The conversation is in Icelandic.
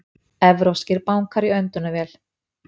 Evrópskir bankar í öndunarvél